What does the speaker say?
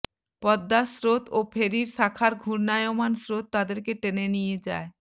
পদ্মার স্রোত ও ফেরির পাখার ঘূর্ণায়মান স্রোত তাদেরকে টেনে নিয়ে যায়